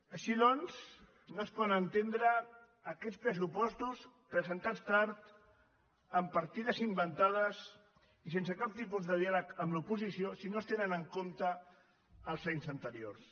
així doncs no es poden entendre aquests pressupostos presentats tard amb partides inventades i sense cap tipus de diàleg amb l’oposició si no es tenen en compte els anys anteriors